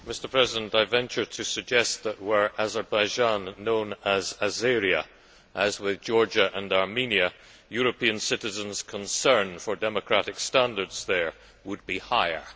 Mr President, I venture to suggest that were Azerbaijan known as Azeria, as with Georgia and Armenia, European citizens' concern for democratic standards there would be higher.